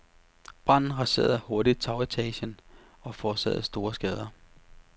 Branden raserede hurtigt tagetagen og forårsagede store skader.